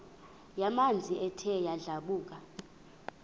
yamanzi ethe yadlabhuka